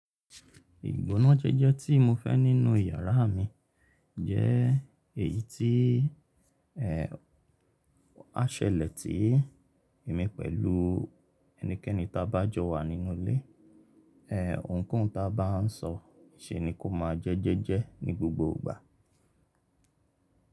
Ìgbónájẹ́jẹ́ tí mo fẹ́ nínú yàrá mi jẹ́ èyí tí á ṣẹlẹ̀ tí èmi pẹ̀lú ẹnikẹ́ni ta bá jọ wà nínú ilé, ohùn kohun ta bá n sọ se ni kò máa jẹ́ jẹ́jẹ́ ní gbogbo ìgbà.